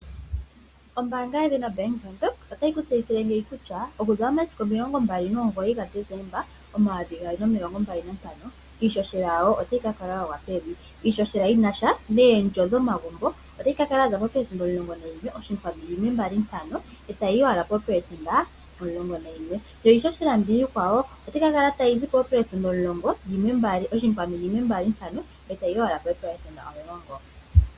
Ombaanga yedhina Bank Windhoek otayi ku tseyithile ngeyi kutya; okuza momasiku omilongo mbali nomugoyi ga Desemba omayovi gaali nomilongo mbali nantano iishoshela yawo otayi ka kala ya gwa pevi, iishoshela yinasha neendjo dhomagumbo otayi ka kala yaza poopelesenda omulongo nayimwe oshinkwanu yimwe mbali ntano etayi yi wala poopelesenda omulongonayimwe, yo iishoshela mbiya iikwawo otayi ka kala tayi zi poopelesenda yimwe mbali ntano etayi galula ko eepelesenda omulongo.